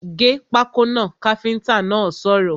‘Gé pákó náà’ káfíntà náà sọ̀rọ̀